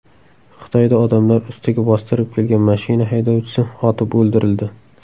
Xitoyda odamlar ustiga bostirib kelgan mashina haydovchisi otib o‘ldirildi.